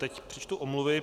Teď přečtu omluvy.